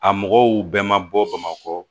A mɔgɔw bɛɛ ma bɔ bamakɔ